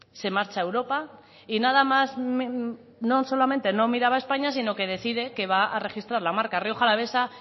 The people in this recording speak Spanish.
se marcha a europa y nada más no solamente no miraba a españa sino que decide que va a registrar la marca rioja alavesa